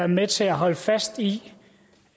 med til at holde fast i